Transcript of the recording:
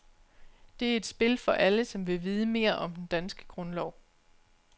Det er et spil for alle, som vil vide mere om den danske grundlov.